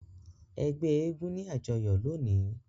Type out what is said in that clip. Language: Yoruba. Ẹgbẹ èègún ni ajọyọ loni.